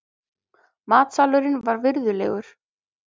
Matsalurinn var virðulegur.